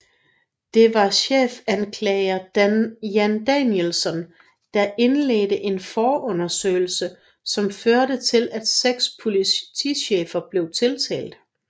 Det var chefanklager Jan Danielsson der indledte en forundersøgelse som førte til at 6 politichefer blev tiltalt